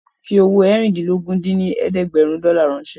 Fi owó eérìndínlógún dín ní ẹ̀ẹ́dẹ́gbẹ́rún dọ́là ránṣẹ́